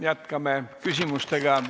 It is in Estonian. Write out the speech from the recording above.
Jätkame küsimustega.